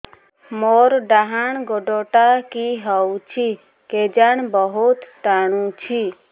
ମୋର୍ ଡାହାଣ୍ ଗୋଡ଼ଟା କି ହଉଚି କେଜାଣେ ବହୁତ୍ ଟାଣୁଛି